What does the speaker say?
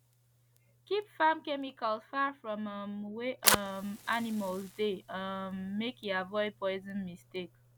keep farm chemicals far from um wey um animals de um make e avoid poison mistake